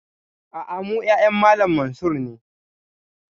A'a, mu ƴaƴan Malam Mansur ne